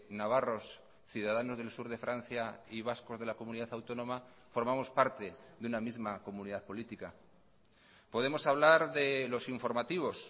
navarros ciudadanos del sur de francia y vascos de la comunidad autónoma formamos parte de una misma comunidad política podemos hablar de los informativos